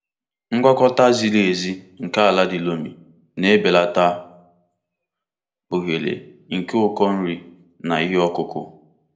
Ngwakọta ziri ezi nke ala di loamy na-ebelata ohere nke ụkọ nri na ihe ọkụkụ.